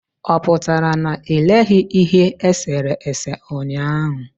ọpụtara na i leghị ihe esere ese ụnyaahụ?